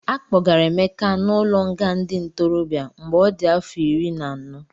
Akpọgara Emeka n'ụlọnga ndị ntorobịa mgbe ọ dị afọ iri na anọ.